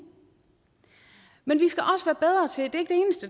men det